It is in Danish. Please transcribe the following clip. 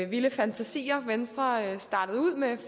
vilde fantasier venstre startede ud med